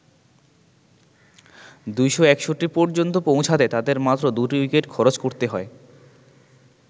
২৬১ পর্যন্ত পৌঁছাতে তাদের মাত্র দুটি উইকেট খরচ করতে হয়।